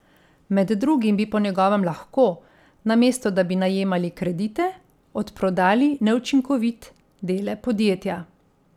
Med drugim bi po njegovem lahko, namesto da bi najemali kredite, odprodali neučinkovit dele podjetja.